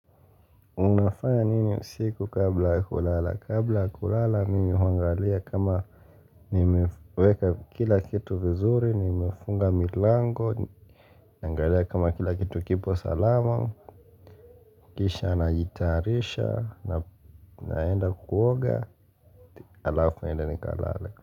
Unafanya nini usiku kabla kulala. Kabla ya kulala mimi huangalia kama nimeweka kila kitu vizuri, nimefunga milango, nangalia kama kila kitu kipo salama, kisha najiyatarisha, naenda kuoga, alafu naenda ni kalale.